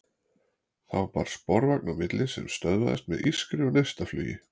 Þá bar sporvagn á milli sem stöðvaðist með ískri og neistaflugi.